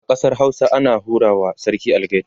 a ƙasar Hausa ana hura wa sarki algaita